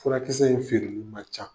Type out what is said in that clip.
Furakisɛ in feereli man ca.